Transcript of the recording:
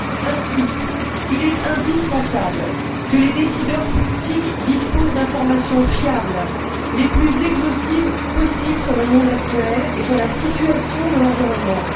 Ainsi, il est indispensable que les décideurs politiques disposent d'informations fiables, les plus exhaustives possibles, sur le monde actuel et sur la situation de l'environnement.